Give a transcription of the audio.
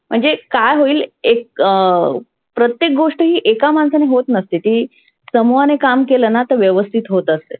म्हणजे काय होईल एक अं प्रत्येक गोष्ट ही एका माणसाने होत नसते ती समुहाने काम केलं ना तर होत असते.